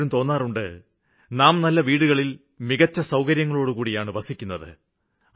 പലപ്പോഴും തോന്നാറുണ്ട് നാം നല്ല വീടുകളില് മികച്ച സൌകര്യങ്ങളോടുകൂടിയാണ് വസിക്കുന്നത്